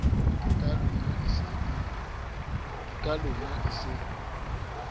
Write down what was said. ke ka lona e se